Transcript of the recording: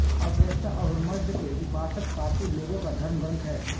Avesta Ahuramazda के उपासक पारसी लोगों का धर्मग्रंथ है